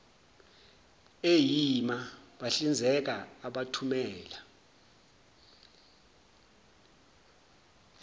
eima bahlinzeka abathumela